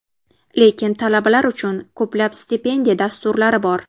Lekin talabalar uchun ko‘plab stipendiya dasturlari bor.